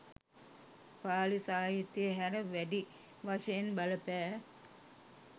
පාලි සාහිත්‍යය හැර, වැඩි වශයෙන් බලපෑ